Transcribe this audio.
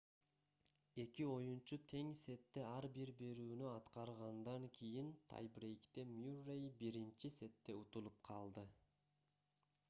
эки оюнчу тең сетте ар бир берүүнү аткаргандан кийин тай-брейкте мюррей биринчи сетте утулуп калды